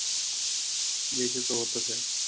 यायचे त होतच ए.